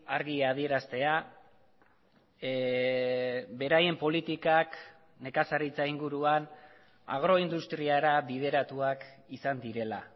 argi adieraztea beraien politikak nekazaritza inguruan agroindustriara bideratuak izan direla